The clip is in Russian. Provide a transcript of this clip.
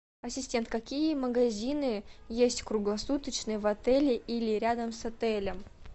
ассистент какие магазины есть круглосуточные в отеле или рядом с отелем